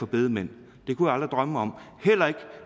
bedemænd det kunne jeg aldrig drømme om heller ikke